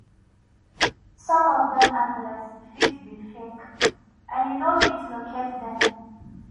some of them address fit be fake and you no fit locate them